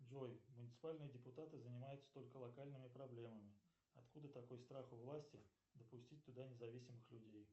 джой муниципальные депутаты занимаются только локальными проблемами откуда такой страх у власти допустить туда независимых людей